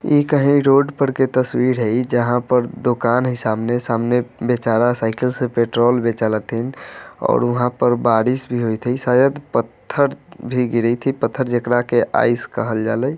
ई कही रोड पर की तसवीर है जहा पर दुकान है सामने सामने बेचारा साइकिल से पेट्रोल बेचालथें और वहा पर बारिश भी हुई थी शायद पथर भीग रही थी पथर जे कड़ा के आईस कहल जाले ।